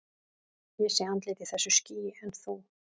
Ég sé andlit í þessu skýi, en þú?